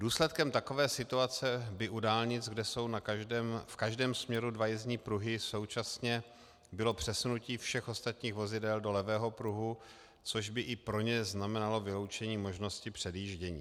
Důsledkem takové situace by u dálnic, kde jsou v každém směru dva jízdní pruhy současně, bylo přesunutí všech ostatních vozidel do levého pruhu, což by i pro ně znamenalo vyloučení možnosti předjíždění.